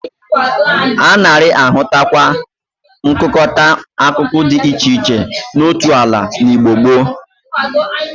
A nari-ahụtakwa nkụkọta akụkụ di iche iche n'otu ala n'Igbo gboo.